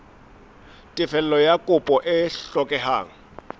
tefello ya kopo e hlokehang